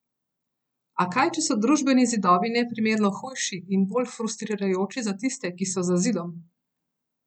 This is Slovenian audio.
A kaj, če so družbeni zidovi neprimerno hujši in bolj frustrirajoči za tiste, ki so za zidom?